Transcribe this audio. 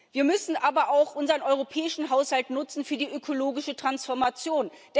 Wir müssen aber auch unseren europäischen Haushalt nutzen für die ökologische Transformation.